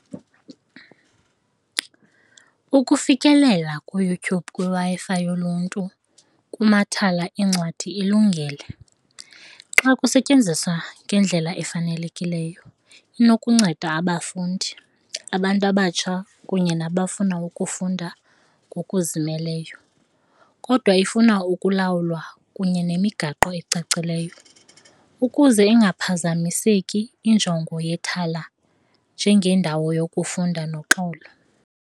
Ukufikelela kuYouTube kwiWi-Fi yoluntu kumathala eencwadi ilungile. Xa kusetyenziswa ngendlela efanelekileyo inokunceda abafundi, abantu abatsha kunye nabafuna ukufunda ngokuzimeleyo kodwa ifuna ukulawulwa kunye nemigaqo ecacileyo ukuze ingaphazamiseki injongo yethala njengendawo yokufunda noxolo.